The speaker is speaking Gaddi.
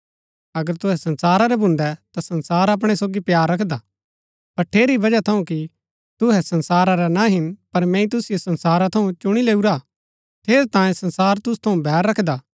अगर तुहै संसारा रै भून्दै ता संसार अपणै सोगी प्‍यार रखदा पर ठेरी बजह थऊँ कि तुहै संसारा रै ना हिन पर मैंई तुसिओ संसारा थऊँ चूनी लैऊरा हा ठेरैतांये संसार तुसु थऊँ बैर रखदा हा